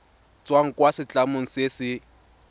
tswang kwa setlamong se se